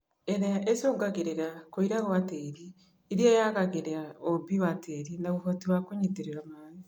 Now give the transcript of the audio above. ĩrĩa ĩcũngagĩrĩria kũira gwa tĩri iria yagagĩria ũũmbi wa tĩri na ũhoti wa kũnyitĩrĩra maĩ